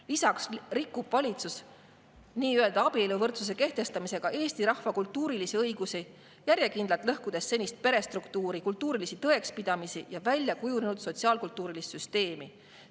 Lisaks rikub valitsus nii-öelda abieluvõrdsuse kehtestamisega Eesti rahva kultuurilisi õigusi, järjekindlalt lõhkudes senist perestruktuuri, kultuurilisi tõekspidamisi ja väljakujunenud sotsiaal-kultuurilist süsteemi.